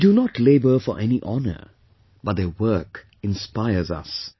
They do not labour for any honor, but their work inspires us